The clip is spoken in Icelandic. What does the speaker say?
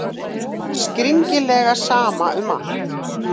Skringilega sama um allt.